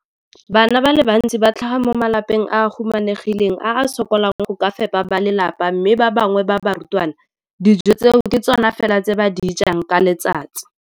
Bana ba le bantsi ba tlhaga mo malapeng a a humanegileng a a sokolang go ka fepa ba lelapa mme ba bangwe ba barutwana, dijo tseo ke tsona fela tse ba di jang ka letsatsi.